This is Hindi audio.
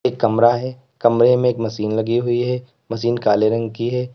एक कमरा है कमरे में एक मशीन लगी हुई है मशीन काले रंग की है।